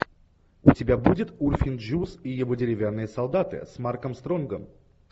у тебя будет урфин джюс и его деревянные солдаты с марком стронгом